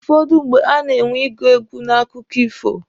Ụfọdụ mgbe, a na-enwe ịgụ egwu n'akụkọ ifo.